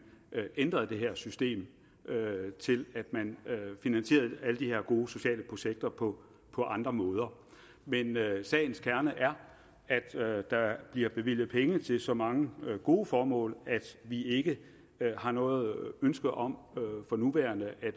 ændrede det her system til at man finansierede alle de her gode sociale projekter på på andre måder men sagens kerne er at der bliver bevilget penge til så mange gode formål at vi ikke har noget ønske om for nuværende at